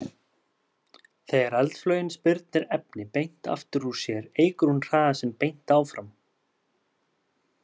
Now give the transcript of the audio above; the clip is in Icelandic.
Þegar eldflaugin spyrnir efni beint aftur úr sér eykur hún hraða sinn beint áfram.